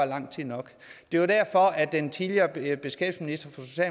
lang tid nok det var derfor at den tidligere beskæftigelsesminister